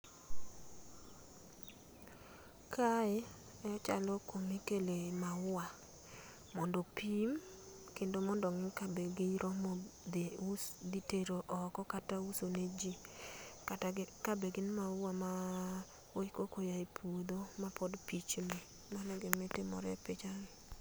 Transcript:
Kae e chalo kumikle maua modopim kendo ongi ka be giromo dhi us dhi tero oko kata uso ne jii kata ka be gin maua maa koko ae puodho ma pod pichni namo e gima timore e picha no.